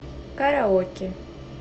караоке